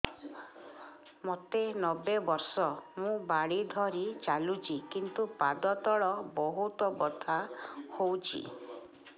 ମୋତେ ନବେ ବର୍ଷ ମୁ ବାଡ଼ି ଧରି ଚାଲୁଚି କିନ୍ତୁ ପାଦ ତଳ ବହୁତ ବଥା ହଉଛି